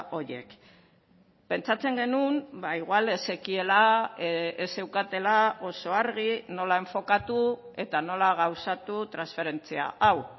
horiek pentsatzen genuen ba igual ez zekiela ez zeukatela oso argi nola enfokatu eta nola gauzatu transferentzia hau